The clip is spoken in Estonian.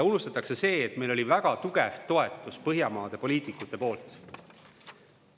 Nimelt see, et meil oli väga tugev Põhjamaade poliitikute toetus.